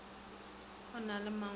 o na le mangwalo a